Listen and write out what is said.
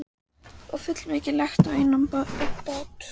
Og fullmikið lagt á einn mann.